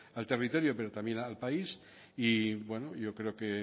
al territorio pero también al país y bueno yo creo que